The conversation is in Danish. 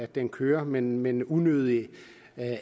det kører men men unødvendigt